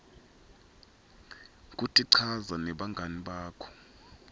kutichaza nebangani bakho